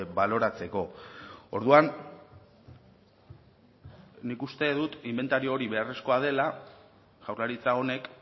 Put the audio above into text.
baloratzeko orduan nik uste dut inbentario hori beharrezkoa dela jaurlaritza honek